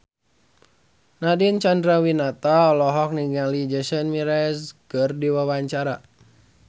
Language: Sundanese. Nadine Chandrawinata olohok ningali Jason Mraz keur diwawancara